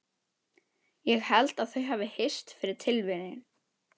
Ég held þau hafi hist fyrir tilviljun.